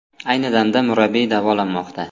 Ayni damda murabbiy davolanmoqda.